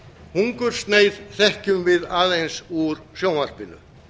hungursneyð þekkjum við aðeins úr sjónvarpinu